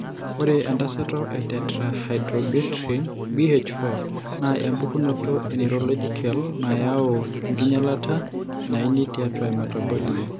Ore entasato eTetrahydrobiopterin (BH4) naa empukunoto eneurologicale nayau enkinyialata naini tiatua emetabolism.